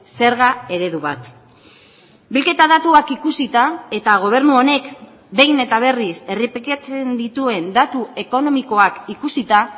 zerga eredu bat bilketa datuak ikusita eta gobernu honek behin eta berriz errepikatzen dituen datu ekonomikoak ikusita